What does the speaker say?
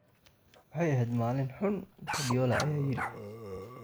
"Waxay ahayd maalin xun," Guardiola ayaa yidhi.